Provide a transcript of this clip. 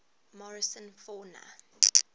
morrison fauna